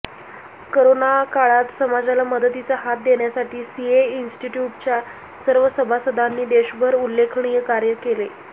करोनाकाळात समाजाला मदतीचा हात देण्यासाठी सीए इन्स्टिट्युटच्या सर्व सभासदांनी देशभर उल्लेखनीय कार्य केले